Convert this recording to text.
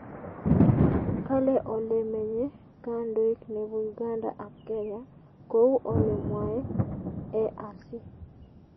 Kale ole menye kandoik nebo Uganda ak Kenya kou ole mwae EAC